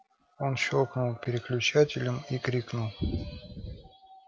он щёлкнул переключателем и крикнул